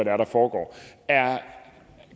er der foregår